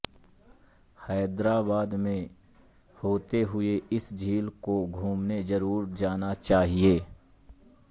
हैदराबाद में होते हुए इस झील को घूमने जरूर जाना चाहिए